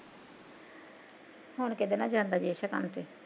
ਹੁਣ ਕੀਦੇ ਨਾਲ਼ ਜਾਂਦਾ ਜੇਸ਼ਾ ਕੰਮ ਤੇ